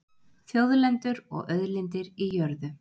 Þjóðlendur og auðlindir í jörðu